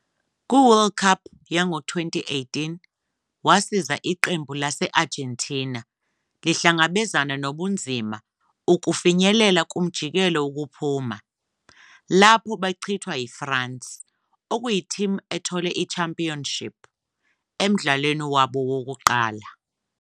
Ku-World Cup yango-2018, wasiza iqembu lase-Argentina elihlangabezana nobunzima ukufinyelela kumjikelo wokuphuma, lapho bachithwa yiFrance, okuyi-team ethole i-championship, emdlalweni wabo wokuqala.